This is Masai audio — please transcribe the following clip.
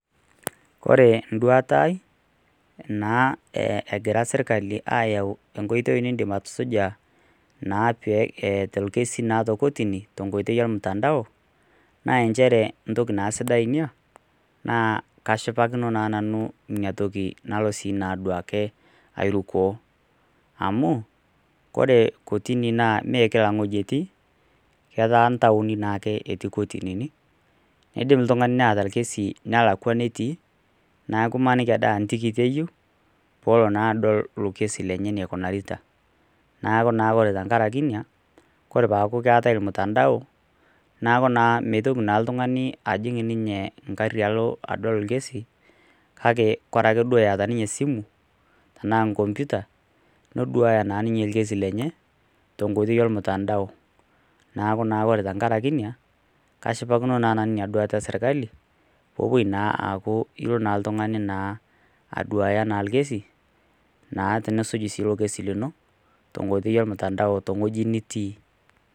Ore enduata ai naa egira sirkali ayawu enkoitoi nidim atusuja naa pee etum atusuja naa torkesi tenkoitoi ormutandao naa njere entoki sidai naa kashipakino ena toki amu ore kotini neme kila ewueji etii ketaa ntaoni natii kotini nidim oltung'ani lotaa orkesi nelakua enetii neeku emaniki aa ntokitin Ade eyieu pelo adol elo kesi lenye enegira aikunari neeku ore tenkaraki ena peeku keetae ormutandao neeku mitoki oltung'ani ajing ninye egari adol orkesi ore ake etaa ninye esimu tenaa kompita neduaya naa ninye orkesi lenye tenkoitoi ormutandao neeku ore tenkaraki kashipakino ena oitoi esirkali nilo aduaya orkesi lino tenkoitoi ormutandao tewueji nitii